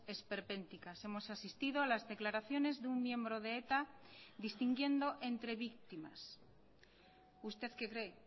esperpénticas hemos asistido a las declaraciones de un miembro de eta distinguiendo entre víctimas usted qué cree